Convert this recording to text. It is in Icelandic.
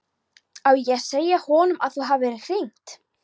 Á ég að segja honum að þú hafir hringt?